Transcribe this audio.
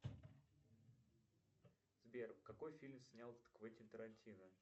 сбер какой фильм снял квентин тарантино